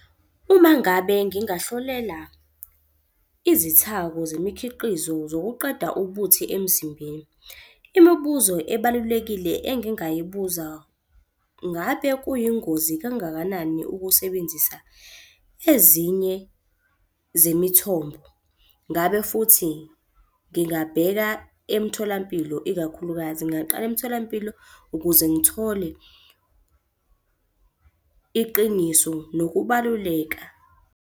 Uma ngabe ngingahlolela izithako zemikhiqizo zokuqeda ubuthi emzimbeni, imibuzo ebalulekile engingayibuza, ngabe kuyingozi kangakanani ukusebenzisa ezinye zemithombo. Ngabe futhi ngingabheka emtholampilo ikakhulukazi, ngingaqala emtholampilo ukuze ngithole iqiniso nokubaluleka.